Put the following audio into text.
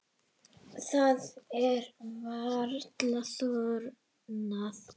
Það er varla þornað.